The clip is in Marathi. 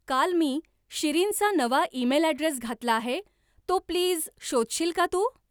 काल मी शिरीनचा नवा ईमेल अॅड्रेस घातला आहे, तो प्लीज शोधशील का तू?